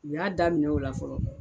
U y'a daminɛ o la fɔlɔ.